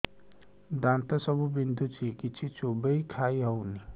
ଦାନ୍ତ ସବୁ ବିନ୍ଧୁଛି କିଛି ଚୋବେଇ ଖାଇ ହଉନି